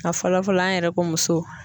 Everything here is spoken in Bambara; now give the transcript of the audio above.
A fɔlɔ fɔlɔ an yɛrɛ ko muso.